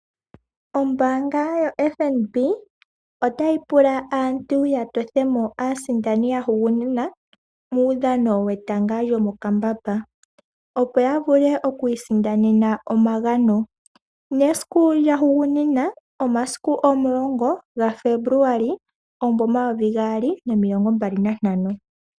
Ombaanga yoFNB ota yi pula aantu yatothemo aasindani yahugunina muudhano wetanga lyomokambamba opo yavule okwiisindanena omagano, nesiku lyahugunina omasiku omulongo gaFebruali omunvo omayuvi gaali nomilongo mbali nantano.